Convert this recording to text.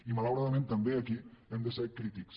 i malauradament també aquí hem de ser crítics